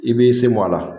I b'i sen bɔ a la